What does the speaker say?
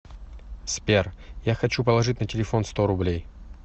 сбер я хочу положить на телефон сто рублей